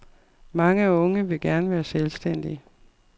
Mange unge vil gerne være selvstændige.